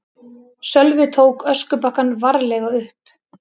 Sölvi tók öskubakkann varlega upp.